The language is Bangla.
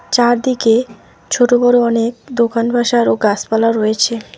চারদিকে ছোট বড় অনেক দোকান বাসার ও গাছপালা রয়েছে।